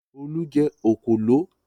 Olú jẹ òkòló?